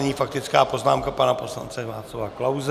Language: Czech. Nyní faktická poznámka pana poslance Václava Klause.